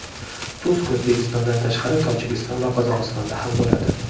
Tusk O‘zbekistondan tashqari Tojikiston va Qozog‘istonda ham bo‘ladi.